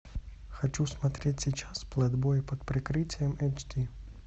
хочу смотреть сейчас плейбой под прикрытием эйч ди